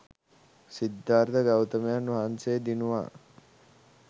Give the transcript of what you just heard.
සිද්ධාර්ථ ගෞතමයන් වහන්සේ දිනුවා.